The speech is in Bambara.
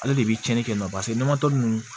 Ale de bi cɛnnin kɛ n na nɔnɔtɔ ninnu